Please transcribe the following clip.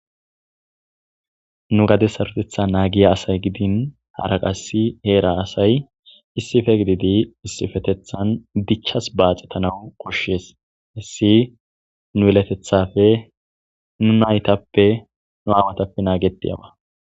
nu gade sarotetha naagiya asay gidin haraqassi heera asay issife gididi issifetethan dichchas baaxetanau koshshees issi nu yelatethafe nu naytappe nu amatappe naagedeyawa